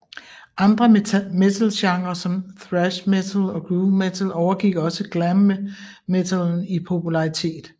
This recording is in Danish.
Andre metalgenrer som Thrash metal og Groove metal overgik også glam metallen i popularitet